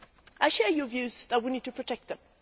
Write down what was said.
I share your view that we need to protect them.